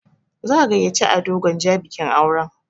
Za'a gayyaci Ado Gwanja bikin auren.